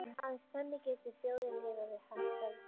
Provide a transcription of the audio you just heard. Aðeins þannig getur þjóðin lifað við hagsæld.